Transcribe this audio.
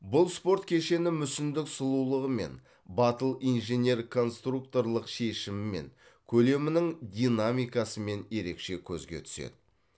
бұл спорт кешені мүсіндік сұлулығымен батыл инженер конструкторлық шешімімен көлемінің динамикасымен ерекше көзге түседі